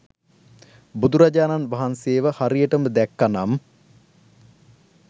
බුදුරජාණන් වහන්සේව හරියටම දැක්ක නම්